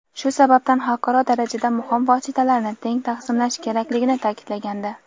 shu sababdan xalqaro darajada muhim vositalarni teng taqsimlash kerakligini ta’kidlagandi.